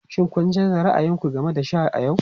Shin kun canza ra'ayin ku game da sha a yau?